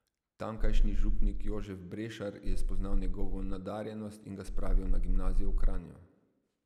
Tamkajšnji župnik Jožef Brešar je spoznal njegovo nadarjenost in ga spravil na gimnazijo v Kranju.